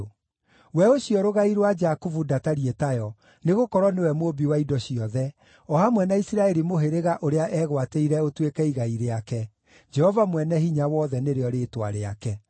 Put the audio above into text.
We ũcio Rũgai rwa Jakubu ndatariĩ tayo, nĩgũkorwo nĩwe Mũũmbi wa indo ciothe, o hamwe na Isiraeli mũhĩrĩga ũrĩa, eegwatĩire ũtuĩke igai rĩake, Jehova Mwene-Hinya-Wothe, nĩrĩo rĩĩtwa rĩake.